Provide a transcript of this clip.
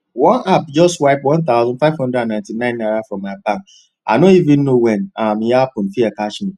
one app just wipe one thousand five hundred and ninety ninenaira from my bank i no even know when um e happen fear catch me